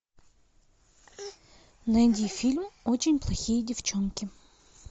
найди фильм очень плохие девчонки